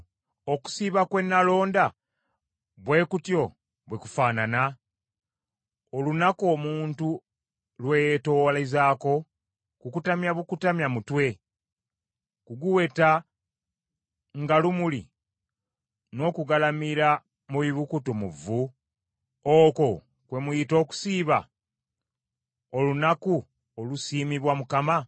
Okusiiba kwe nalonda bwe kutyo bwe kufaanana? Olunaku omuntu lw’eyetoowalizaako? Kukutamya bukutamya mutwe, kuguweta nga lumuli n’okugalamira mu bibukutu mu vvu? Okwo kwe muyita okusiiba, olunaku olusiimibwa Mukama ?